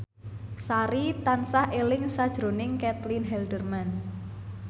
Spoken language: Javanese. Sari tansah eling sakjroning Caitlin Halderman